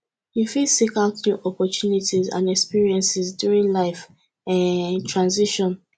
you fit seek out new opportunities and experiences during life um transitions